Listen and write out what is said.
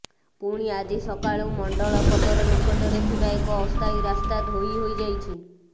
ପୁଣି ଆଜି ସକାଳୁ ମଣ୍ଡଳପଦର ନିକଟରେ ଥିବା ଏକ ଅସ୍ଥାୟୀ ରାସ୍ତା ଧୋଇ ହୋଇଯାଇଛି